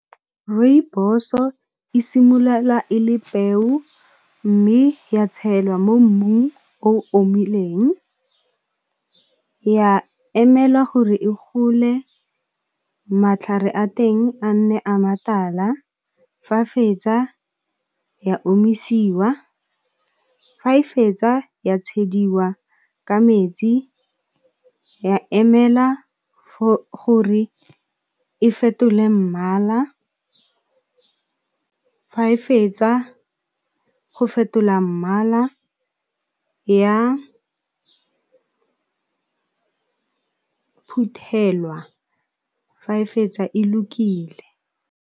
Rooibos-o e simolola e le peo mme ya tshelwa mo mmung o omileng, ya emela gore e gole matlhare a teng a nne a matala fa a fetsa ya omisiwa, fa e fetsa ya tshwaediwa ka metsi ya emela gore e fetole mmala, fa e fetsa go fetola mmala ya phuthelwa fa e fetsa e lokile.